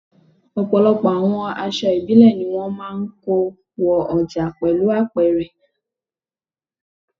Ọ̀pọ̀lọpọ̀ àwọn èso ìbílẹ̀ ni wón máa ń kó wo ọjà pẹ̀lú apẹ̀rẹ̀.